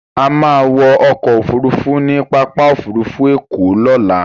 A máa wọ ọkọ òfurufú ní pápá òfurufú ẹ̀kọ́ lọ́la.